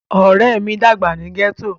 Ore mi dagba ni gẹto.